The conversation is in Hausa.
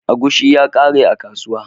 Agushi ya kare a kasuwa.